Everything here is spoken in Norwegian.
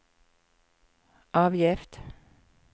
avgift